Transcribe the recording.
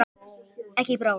Ekki í bráð.